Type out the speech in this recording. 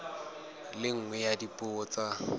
le nngwe ya dipuo tsa